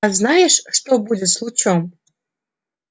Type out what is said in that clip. а знаешь что будет с лучом